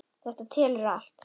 Þetta telur allt.